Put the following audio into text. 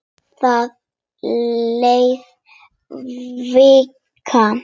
Það leið vika.